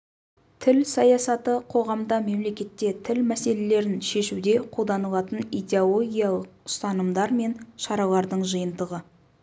тіл саясаты қоғамда мемлекетте тіл мәселелерін шешуде қолданылатын идеологиялық ұстанымдар мен шаралардың жиынтығы